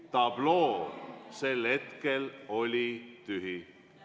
Tabloo sel hetkel oli tühi.